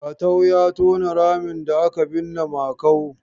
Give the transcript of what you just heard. Jatau ya tona ramin da aka binne Makau.